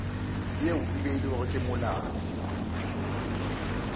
yeo e beilwego ke molao